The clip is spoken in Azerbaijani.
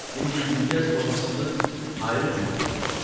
İndi Gülgəz babasını ayrı cür tanıyırdı.